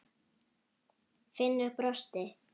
Finnur brosti.